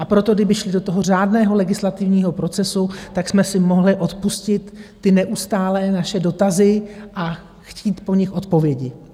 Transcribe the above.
A proto kdyby šli do toho řádného legislativního procesu, tak jsme si mohli odpustit ty neustálé naše dotazy a chtít po nich odpovědi.